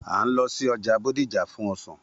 A ń lo sí ọja Bódìjà fún ọsán.